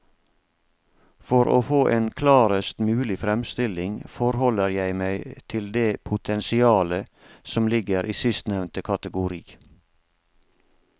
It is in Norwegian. For å få en klarest mulig fremstilling forholder jeg meg til det potensialet som ligger i sistnevnte kategori.